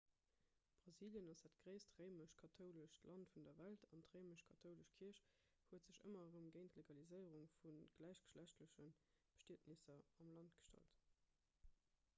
brasilien ass dat gréisst réimesch-kathoulescht land vun der welt an d'réimesch-kathoulesch kierch huet sech ëmmer erëm géint d'legaliséierung vu gläichgeschlechtleche bestietnesser am land gestallt